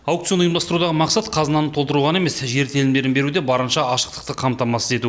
аукцион ұйымдастырудағы мақсат қазынаны толтыру ғана емес жер телімдерін беруде барынша ашықтықты қамтамасыз ету